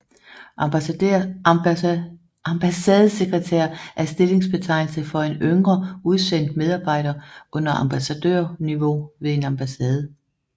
Ambassadesekretær er stillingsbetegnelse for en yngre udsendt medarbejder under ambassadørniveau ved en ambassade